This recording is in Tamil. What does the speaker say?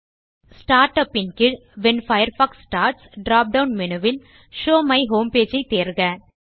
ஸ்டார்ட் உப் இன் கீழ் when Firefox starts drop down menu will show my home page ஐ தேர்க